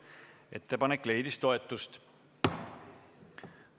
Ettepanek leidis toetust.